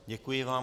Děkuji vám.